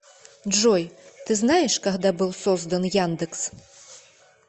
джой ты знаешь когда был создан яндекс